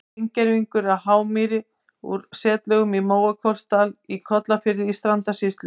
Steingervingur af hármýi úr setlögum í Mókollsdal í Kollafirði í Strandasýslu.